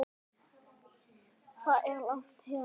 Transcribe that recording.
Hvað er langt héðan?